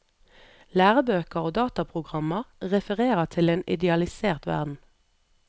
Lærebøker og dataprogrammer refererer til en idealisert verden.